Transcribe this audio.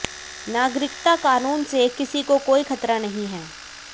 नागरिकता कानून से किसी को कोई खतरा नहीं है